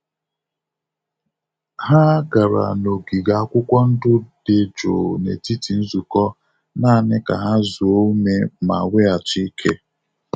Ha gara n'ogige akwụkwọ ndụ dị jụụ n'etiti nzukọ naanị ka ha zuo ume ma weghachi ike.